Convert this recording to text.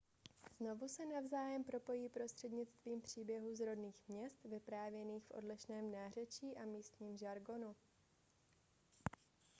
znovu se navzájem propojí prostřednictvím příběhů z rodných měst vyprávěných v odlišném nářečí a místním žargonu